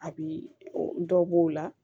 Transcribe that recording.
A bi dɔ b'o la